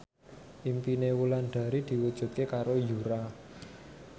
impine Wulandari diwujudke karo Yura